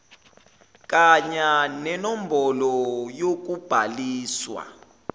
kanya nenombholo yokubhaliswa